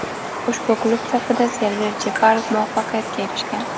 Ushbu klub safida Server Jeparov muvaffaqiyatga erishgan.